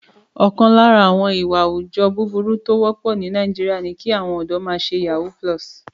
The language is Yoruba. Ọ̀kan lára àwọn ìwà àwùjọ búburú tó wọ́pọ̀ ní Nàìjíríà ni kí àwọn ọ̀dọ́ náà ṣe yahoo+.